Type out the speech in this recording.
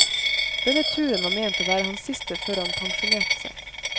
Denne turen var ment å være hans siste før han pensjonerte seg.